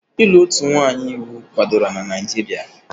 Ịlụ otu nwanyị iwu kwadoro na Naijiria?